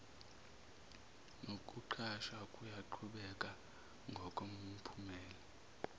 nokuqashwa kuyaqhubeka ngokomphumela